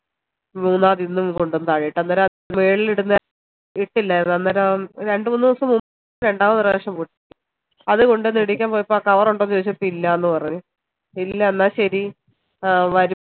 മൂന്നതു ഇന്നു കൊണ്ടോയി താഴെ ഇട്ട് മേള് ഇടുന്നെ ഇട്ടില്ലായിരുന്നു അന്നേരം രണ്ട്‌ മൂന്ന് ദിവസം മു ൻപ് രണ്ടാമത് പ്രവശ്യോ പൊട്ടി അത് കൊണ്ടോന്ന് ഇടീക്കാൻ പോയപ്പോ ആ cover ഉണ്ടോന്ന് ചോയ്ച്ചപ്പോ ഇല്ലന്ന് പറഞ്ഞു ഇല്ല എന്ന ശരി ആഹ്